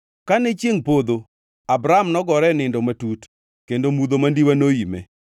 Kane chiengʼ podho, Abram nogore e nindo matut kendo mudho mandiwa noime.